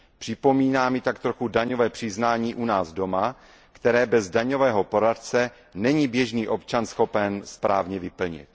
Připomíná mi tak trochu daňové přiznání u nás doma, které bez daňového poradce není běžný občan schopen správně vyplnit.